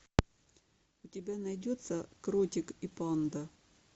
у тебя найдется кротик и панда